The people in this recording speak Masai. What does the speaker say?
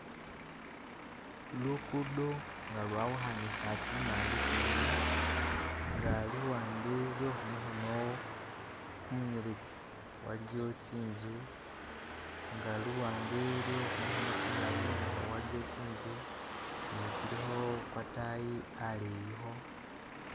Lukudo nga lwawukhanisa tsimande tsibili nga luwande lwe khumukhono kumunyeletsi waliwo tsi'nzu nga luwande lwe khu mukhono kumulayi nakhwo waliyo tsi nzu ne tsilikho kwatayi aleyikho